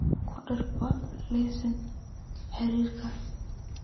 ku dar bob liiska xiriirka